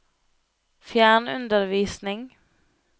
fjernundervisning